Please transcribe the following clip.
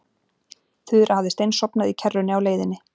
Þura hafði steinsofnað í kerrunni á leiðinni.